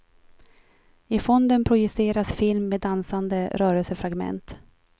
I fonden projiceras film med dansande rörelsefragment.